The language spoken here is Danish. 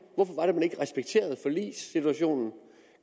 hvorfor respekterede forligssituationen og